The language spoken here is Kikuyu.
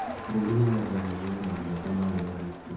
Bũrũri-inĩ wa Germany winamũnyaka maarĩ na Hitler.